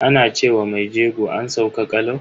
Ana ce wa mai jego "an sauka kalau".